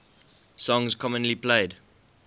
songs commonly played